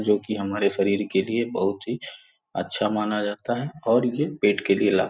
जो कि हमारे शरीर के लिए बहुत ही अच्छा माना जाता है और यह पेट के लिए.